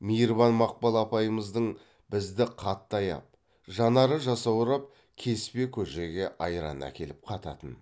мейірбан мақпал апайымыздың бізді қатты аяп жанары жасаурап кеспе көжеге айран әкеліп қататын